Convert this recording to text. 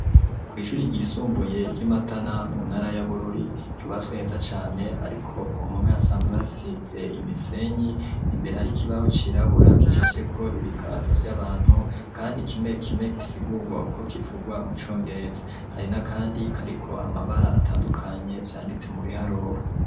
Kw'ishuri ryisumbuye ryi Matana mu ntara ya Bururi ryubatswe neza cane ariko ku mpome hasanzwe hasize imisenyi imbere hari ikibaho cirabura gicafyeko ibiganza vy'abantu kandi kimwe kimwe gisigurwa uko kivurwa mu congereza hari n'akandi kariko amabara atandukanye vyanditse mu biharuro.